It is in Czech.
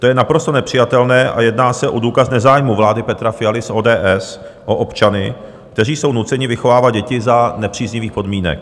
To je naprosto nepřijatelné a jedná se o důkaz nezájmu vlády Petra Fialy z ODS o občany, kteří jsou nuceni vychovávat děti za nepříznivých podmínek.